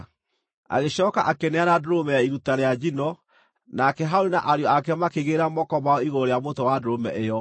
Agĩcooka akĩneana ndũrũme ya iruta rĩa njino, nake Harũni na ariũ ake makĩigĩrĩra moko mao igũrũ rĩa mũtwe wa ndũrũme ĩyo.